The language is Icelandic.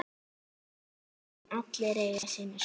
En allir eiga sína sögu.